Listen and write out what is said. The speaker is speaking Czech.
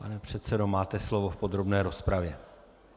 Pane předsedo, máte slovo v podrobné rozpravě.